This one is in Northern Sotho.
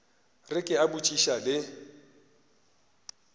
re ke a botšiša le